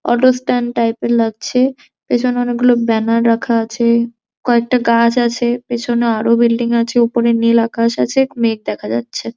Auto stand type এর লাগছে পেছনে অনেকগুলো ব্যানার রাখা আছে কয়েকটা গাছ আছে পেছনে আরও বিল্ডিং আছে উপরে নীল আকাশ আছে মেঘ দেখা যাচ্ছে।